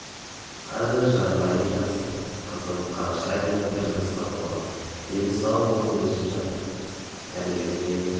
қазір жағдайым жақсы қызым қараша айында бір жасқа толады дені сау болып өсіп келе жатыр дәрігерге